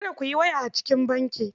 Kada ku yi waya a cikin banki.